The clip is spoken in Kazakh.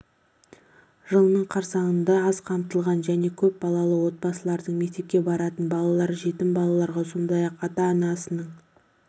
жылының қарсаңында аз қамтылған және көп балалы отбасылардың мектепке баратын балалар жетім балаларға сондай-ақ ата-анасының